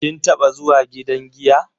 Kin taba zuwa gidan giya?